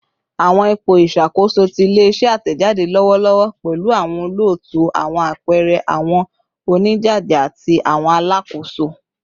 Awọn ipo iṣakoso ti ile-iṣẹ atẹjade lọwọlọwọ pẹlu awọn olootu, awọn apẹẹrẹ, awọn onijaja, ati awọn alakoso